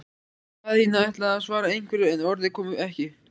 Daðína ætlaði að svara einhverju, en orðin komu ekki.